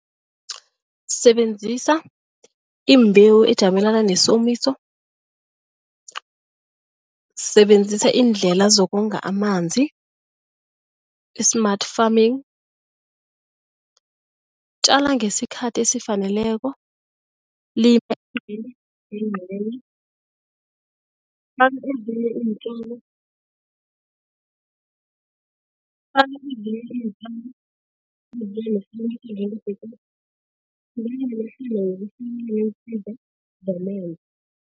Sebenzisa imbewu ejamelana nesomiso sebenzisa iindlela zokonga amanzi i-smart farming, tjala ngesikhathi esifaneleko